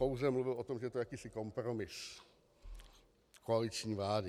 Pouze mluvil o tom, že je to jakýsi kompromis koaliční vlády.